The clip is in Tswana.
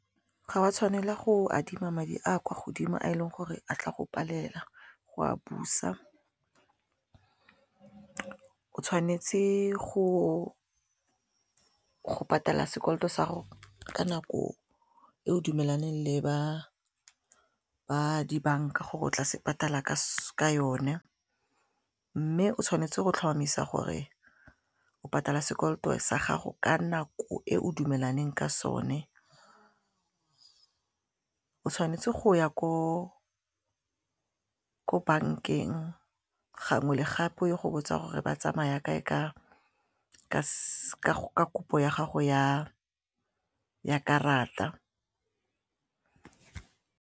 Ga wa tshwanela go adima madi a kwa godimo a e leng gore a tla go palela go a busa, o tshwanetse go patala sekoloto sa gago ka nako e o dumelane le ba di-bank-a gore o tla se patala ka yone mme o tshwanetse go tlhomamisa gore o patala sekoloto sa gago ka nako e o dumelaneng ka sone, o tshwanetse go ya ko ko bank-eng gangwe le gape o ye go botsa gore ba tsamaya kae ka kopo ya gago ya karata.